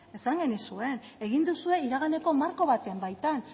esan genizuen egin duzue iraganeko marko baten baitan